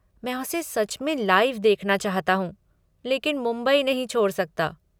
मैं उसे सच में लाइव देखना चाहता हूँ, लेकिन मुंबई नहीं छोड़ सकता।